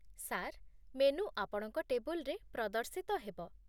Sir, menu ଆପଣଙ୍କ ଟେବୁଲ୍‌ରେ ପ୍ରଦର୍ଶିତ ହେବ।